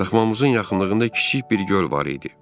Daxmamızın yaxınlığında kiçik bir göl var idi.